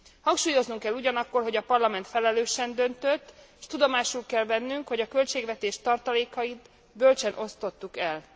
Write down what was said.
Hangsúlyoznunk kell ugyanakkor, hogy a Parlament felelősen döntött, s tudomásul kell vennünk, hogy a költségvetés tartalékait bölcsen osztottuk el.